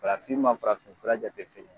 Farafin ma farafin fura jate fin ye